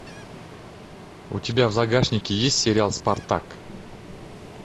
у тебя в загашнике есть сериал спартак